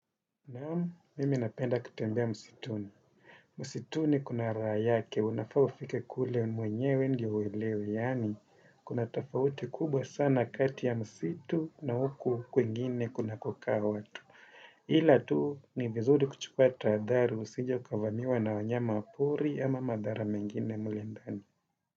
Naam, mimi napenda kutembea msituni. Msituni kuna raha yake, unafaa ufike kule mwenyewe ndio uelewe, yaani, kuna tofauti kubwa sana kati ya msitu na huku kwingine kunakokaa watu. Ila tu ni vizuri kuchukua tahadhari, usije ukavamiwa na wanyama wa pori ama madhara mengine mle ndani.